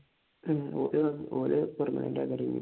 ഉം or permanent ആയി ചെയ്യും